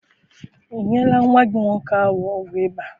I nyela nwa gị nwoke ahụ ọgwụ ịba?